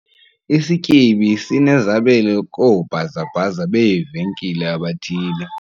Isityebi sinezabelo koobhazabhaza beevenkile abathile .